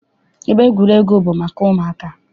Ebe egwuregwu bụ maka ụmụaka.